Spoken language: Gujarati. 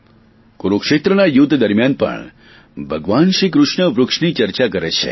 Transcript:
કુરૂક્ષેત્રના યુધ્ધ દરમિયાન પણ ભગવાન શ્રીકૃષ્ણ વૃક્ષની ચર્ચા કરે છે